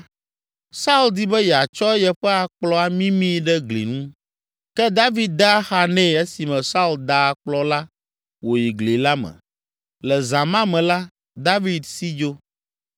Saul di be yeatsɔ yeƒe akplɔ amimii ɖe gli ŋu, ke David de axa nɛ esime Saul da akplɔ la wòyi gli la me. Le zã ma me la, David si dzo.